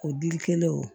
O dili kɛlen o